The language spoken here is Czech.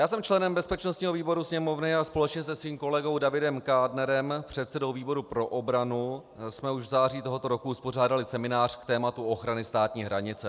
Já jsem členem bezpečnostního výboru Sněmovny a společně se svým kolegou Davidem Kádnerem, předsedou výboru pro obranu, jsme už v září tohoto roku uspořádali seminář k tématu ochrany státní hranice.